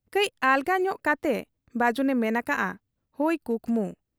ᱠᱟᱹᱡ ᱟᱞᱜᱟ ᱧᱚᱜ ᱠᱟᱴᱮ ᱵᱟᱹᱡᱩᱱᱮ ᱢᱮᱱ ᱟᱠᱟᱜ ᱟ, 'ᱦᱚᱭ ᱠᱩᱠᱢᱩ ᱾'